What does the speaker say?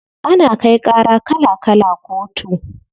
Ana kai ƙara kala kala kotu.